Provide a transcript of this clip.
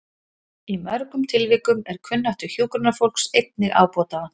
Í mörgum tilvikum er kunnáttu hjúkrunarfólks einnig ábótavant.